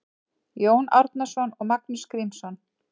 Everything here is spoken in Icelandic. Jón Árnason og Magnús Grímsson